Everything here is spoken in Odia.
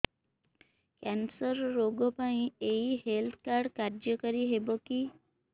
କ୍ୟାନ୍ସର ରୋଗ ପାଇଁ ଏଇ ହେଲ୍ଥ କାର୍ଡ କାର୍ଯ୍ୟକାରି ହେବ କି